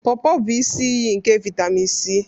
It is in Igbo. Porpor bụ isi iyi nke vitemin C.